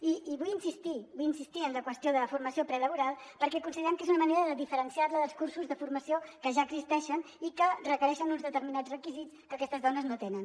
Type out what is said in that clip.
i vull insistir vull insistir·hi en la qüestió de la formació prelaboral perquè considerem que és una manera de diferenciar·la dels cursos de formació que ja existeixen i que requereixen uns determinats requisits que aquestes dones no tenen